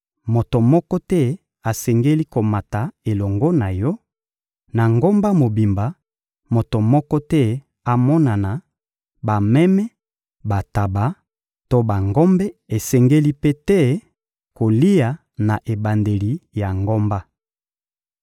Moto moko te asengeli komata elongo na yo; na ngomba mobimba, moto moko te amonana; bameme, bantaba to bangombe esengeli mpe te kolia na ebandeli ya ngomba.